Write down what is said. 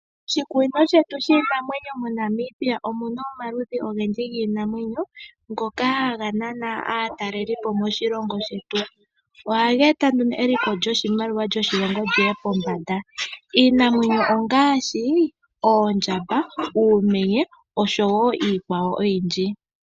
Moshikunino shetu shiinamwenyo moNamibia omu na omaludhi ogendji giinamwenyo ngoka haga nana aatalelipo moshilongo shetu. Ohaga eta nduno eliko lyoshimaliwa lyoshilongo li ye pombanda. Iinamwenyo ongaashi Oondjamba, Uumenye, nosho wo iikwawo oyindji.